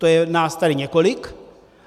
To je nás tady několik.